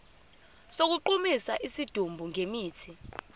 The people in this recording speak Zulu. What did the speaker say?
sokugqumisa isidumbu ngemithi